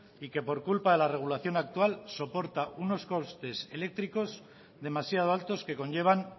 y que por culpa de la regulación actual soporta unos costes eléctricos demasiado altos que conllevan